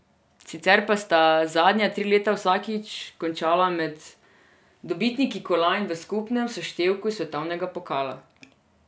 Sicer pa sta zadnja tri leta vsakič končala med dobitniki kolajn v skupnem seštevku svetovnega pokala.